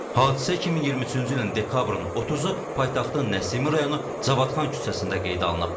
Hadisə 2023-cü ilin dekabrın 30-u paytaxtın Nəsimi rayonu Cavadxan küçəsində qeydə alınıb.